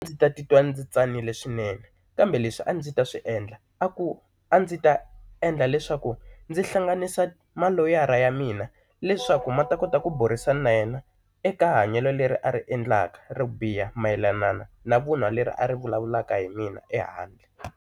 Ndzi ta titwa ndzi tsanile swinene kambe leswi a ndzi ta swiendla a ku a ndzi ta endla leswaku ndzi hlanganisa maloyara ya mina leswaku ma ta kota ku burisana na yena eka hanyelo leri a ri endlaka ro biha mayelana na vun'wa leri a ri vulavulaka hi mina ehandle.